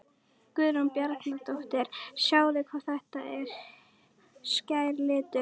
Guðrún Bjarnadóttir: Sjáið hvað þetta er skær litur?